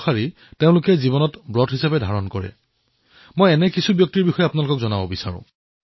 আব্দুল গফুৰৰ দ্বাৰা প্ৰস্তুত ট্ৰি অব্ লাইফ কলাকৃতিক মই আমেৰিকাৰ প্ৰাক্তন ৰাষ্ট্ৰপতি বাৰাক ওবামাক উপহাৰ দিছিলো